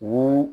Wo